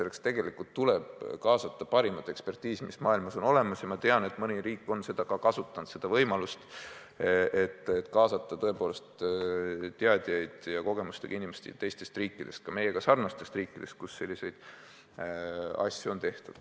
Selleks tuleb kaasata parimat ekspertiisi, mis maailmas on olemas, ja ma tean, et mõni riik on seda ka kasutanud, võimalust kaasata teadjaid ja kogemustega inimesi teistest riikidest, ka meiega sarnastest riikidest, kus selliseid asju on tehtud.